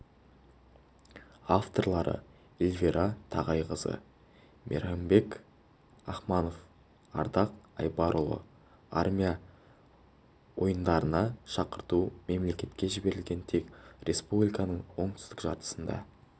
авторлары эльвира тағайқызы мейрамбек ахмаханов ардақ айбарұлы армия ойындарына шақырту мемлекетке жіберілген тек республиканың оңтүстік жартысында